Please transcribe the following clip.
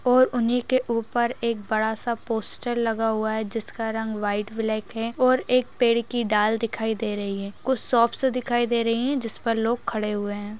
और उन्ही के ऊपर एक बड़ा सा पोस्टर लगा हुआ है जिसका रंग व्हाइट ब्लैक है और एक पेड़ की डाल दिखाई दे रही है कुछ शॉपस दिखाई दे रही हैं जिस पर लोग खड़े हुए हैं।